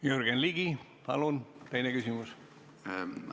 Jürgen Ligi, palun teine küsimus!